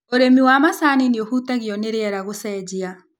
ũrĩmi wa macani nĩũhutagio nĩriera gũcenjia.